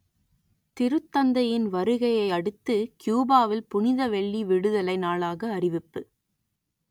திருத்தந்தையின் வருகையை அடுத்து கியூபாவில் புனித வெள்ளி விடுதலை நாளாக அறிவிப்பு